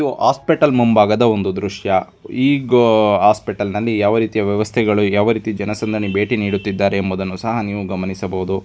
ಇದು ಹಾಸ್ಪಿಟಲ್ ಮುಂಬಾಗದ ಒಂದು ದೃಶ್ಯ ಈ ಗಾಹ್ ಹೋಸ್ಪಿಟಲ್ನಲ್ಲಿ ಯಾವ ರೀತಿಯ ವ್ಯವಸ್ಥೆಗಳು ಯಾವ ರೀತಿ ಜನಸಂದಣಿ ಭೇಟಿ ನೀಡುತ್ತಿದ್ದಾರೆ ಎಂಬುವುದನ್ನು ಸಹ ನೀವು ನೋಡಬಹುದು.